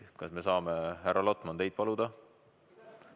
Kas me saame, härra Lotman, teid paluda?